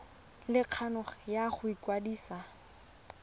le kgano ya go ikwadisa